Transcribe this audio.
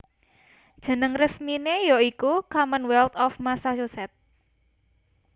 Jeneng resminé ya iku Commonwealth of Massachusetts